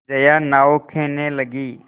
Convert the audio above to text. जया नाव खेने लगी